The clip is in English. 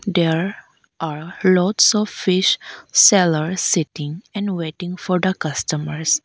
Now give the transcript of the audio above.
there are lots of fish seller sitting and waiting for the customers.